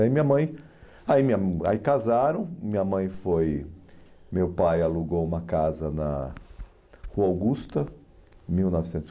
Aí minha mãe, ai minha ma aí casaram, minha mãe foi, meu pai alugou uma casa na Rua Augusta, em mil novecentos